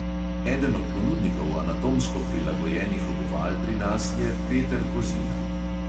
Eden od ponudnikov anatomsko prilagojenih obuval pri nas je peter kozina.